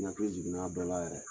I hakili jiginna a dɔ la yɛrɛ